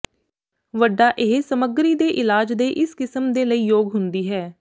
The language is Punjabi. ਵੱਡਾ ਇਹ ਸਮੱਗਰੀ ਦੇ ਇਲਾਜ ਦੇ ਇਸ ਕਿਸਮ ਦੇ ਲਈ ਯੋਗ ਹੁੰਦੀ ਹੈ